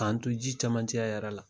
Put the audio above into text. K'an to ji camancɛya yɛrɛ la